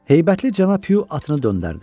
Heybətli cənab Hu atını döndərdi.